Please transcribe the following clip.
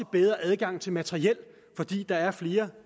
bedre adgang til materiel fordi der er flere